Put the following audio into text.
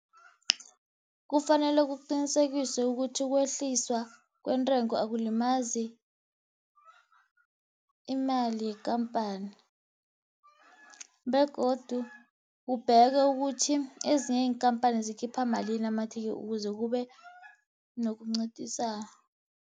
Kufanele kuqinisekiswe ukuthi ukwehliswa kweentengo akulimazi imali yekampani, begodu kubhekwe ukuthi ezinye iinkampani zikhipha malini amathikithi ukuze kube nokunciphisa.